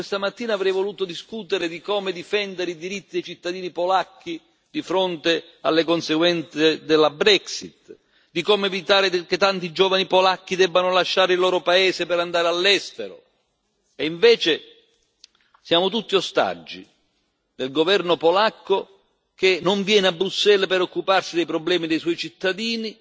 Io questa mattina avrei voluto discutere di come difendere i diritti dei cittadini polacchi di fronte alle conseguenze della Brexit, di come evitare che tanti giovani polacchi debbano lasciare il loro paese per andare all'estero, e invece siamo tutti ostaggi del governo polacco, che non viene a Bruxelles per occuparsi dei problemi dei suoi cittadini